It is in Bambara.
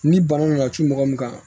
Ni bana nana cun mɔgɔ min kan